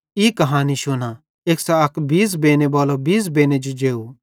ई कहानी शुना एक्सां अक बीज़ बेनेबालो बीज़ बेने जो जेव